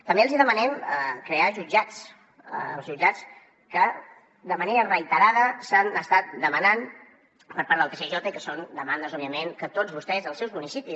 també els hi demanem crear jutjats els jutjats que de manera reiterada s’han estat demanant per part del tsj i que són demandes òbviament que tots vostès als seus municipis